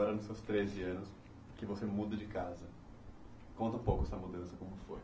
Agora nos seus treze anos, que você muda de casa, conta um pouco essa mudança como foi.